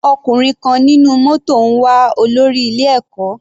Ọkùnrin kan nínú mótò ń wá olórí ilé ẹ̀kọ́.